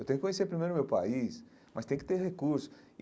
Eu tenho que conhecer primeiro meu país, mas tem que ter recurso e.